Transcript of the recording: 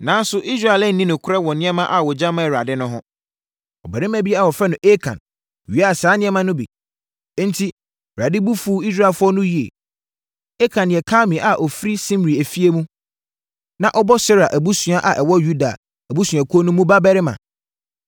Nanso, Israel anni nokorɛ wɔ nneɛma a wɔgya maa Awurade no ho. Ɔbarima bi a wɔfrɛ no Akan wiaa saa nneɛma no bi, enti Awurade bo fuu Israelfoɔ no yie. Akan yɛ Karmi a ɔfiri Simri efie mu, na ɔbɔ Serah abusua a ɛwɔ Yuda abusuakuo mu no babarima.